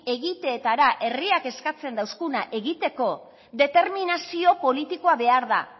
egiteetara herriak eskatzen deuskuna egiteko determinazio politikoa behar da